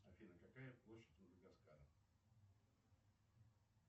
афина какая площадь мадагаскара